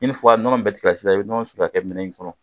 ni nɔnɔ in bɛɛ tigɛra sisan i bɛ nɔnɔ siri ka kɛ minɛn in kɔnɔ